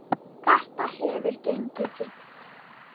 Þetta hefur gengið fínt.